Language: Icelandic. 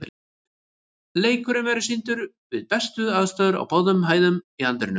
Leikurinn verður sýndur við bestu aðstæður á báðum hæðum í anddyrinu.